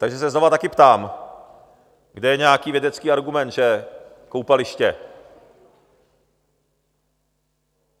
Takže se znovu taky ptám, kde je nějaký vědecký argument, že koupaliště...?